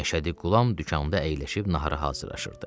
Məşədi Qulam dükanında əyləşib nahara hazırlaşırdı.